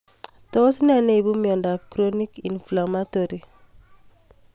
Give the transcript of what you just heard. Tos nee neipu miondop Chronic inflammatory demyelinating polyneuropathy